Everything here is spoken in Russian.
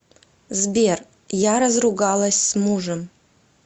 сбер я разругалась с мужем